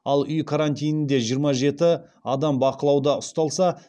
ал үй карантинінде жиырма жеті адам бақылауда ұсталса